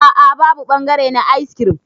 A'a babu bangare na ayis kirim.